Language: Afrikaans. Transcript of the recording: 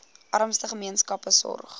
armste gemeenskappe sorg